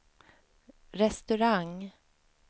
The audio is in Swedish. restaurang